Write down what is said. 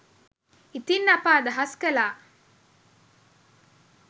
ඉතින් අප අදහස් කළා